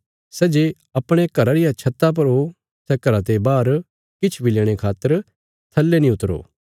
सै जे अपणे घरा रिया छत्ता पर ओ सै घरा ते बाहर किछ बी लेणे खातर थल्ले नीं उतरो